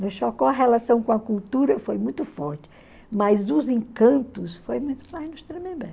Nos Chocó a relação com a cultura foi muito forte, mas os encantos foi muito mais nos Tremembé.